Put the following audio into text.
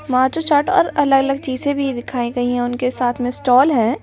माजो चार्ट और अलग-अलग चीज़ें भी दिखाई गई हैं उनके साथ में स्टॉल है ।